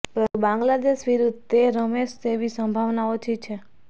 પરંતુ બાંગ્લાદેશ વિરુદ્દ તે રમશે તેવી સંભાવના ઓછી છે